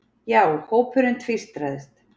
Já, hópurinn tvístraðist.